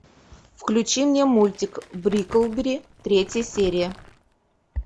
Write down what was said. включи мне мультик бриклберри третья серия